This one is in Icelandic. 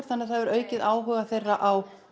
þannig að það hefur aukið áhuga þeirra á